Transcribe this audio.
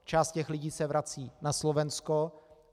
Část těch lidí se vrací na Slovensko.